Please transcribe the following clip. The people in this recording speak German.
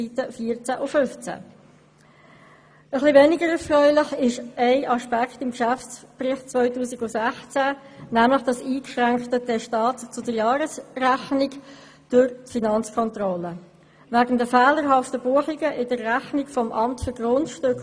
Etwas weniger erfreulich ist ein Aspekt des Geschäftsberichts 2016, nämlich das eingeschränkte Testat zur Jahresrechnung durch die Finanzkontrolle wegen fehlerhafter Buchungen im AGG.